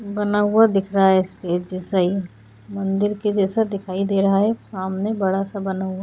बना हुआ दिख रहा है स्टेज जैसा ही मंदिर के जैसा दिखाई दे रहा है सामने बड़ा सा बना हुआ।